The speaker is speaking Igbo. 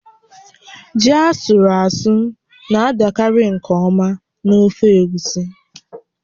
Ji asụrụ asụ na-adakarị nke ọma na ofe egusi